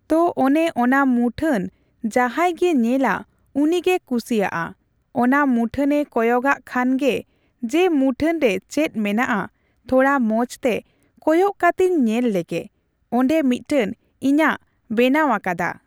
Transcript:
ᱛᱚ ᱚᱱᱮ ᱚᱱᱟ ᱢᱩᱴᱷᱟᱹᱱ ᱡᱟᱦᱟᱸᱭ ᱜᱮ ᱧᱮᱞᱟ ᱩᱱᱤᱜᱮ ᱠᱩᱥᱤᱣᱟᱜᱼᱟ ᱾ ᱚᱱᱟ ᱢᱩᱴᱷᱟᱹᱱᱮ ᱠᱚᱭᱚᱜ ᱟᱜ ᱠᱷᱟᱱ ᱜᱮ ᱡᱮ ᱢᱩᱴᱷᱟᱹᱱ ᱨᱮ ᱪᱮᱫ ᱢᱮᱱᱟᱜᱼᱟ, ᱛᱷᱚᱲᱟ ᱢᱚᱸᱡᱽ ᱛᱮ ᱠᱚᱭᱚᱜ ᱠᱟᱛᱮᱧ ᱧᱮᱞ ᱞᱮᱜᱮ ᱾ᱚᱸᱰᱮ ᱢᱤᱜᱴᱮᱱ ᱤᱧᱟᱹᱜ ᱵᱮᱱᱟᱣ ᱟᱠᱟᱫᱟ᱾